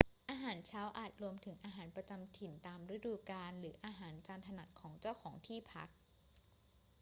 อาหารเช้าอาจรวมถึงอาหารประจำถิ่นตามฤดูกาล หรืออาหารจานถนัดของเจ้าของที่พัก